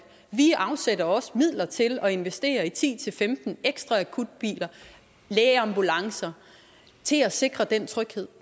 vi afsætter også midler til at investere i ti til femten ekstra akutbiler lægeambulancer til at sikre den tryghed